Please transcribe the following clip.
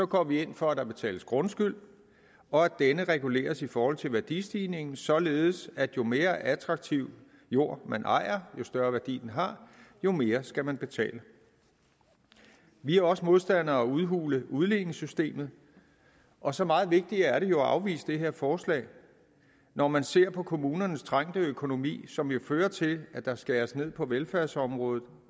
går vi ind for at der betales grundskyld og at denne reguleres i forhold til værdistigningen således at jo mere attraktiv jord man ejer jo større værdi den har jo mere skal man betale vi er også modstandere af at udhule udligningssystemet og så meget vigtigere er det jo at afvise det her forslag når man ser på kommunernes trængte økonomi som jo fører til at der skæres ned på velfærdsområdet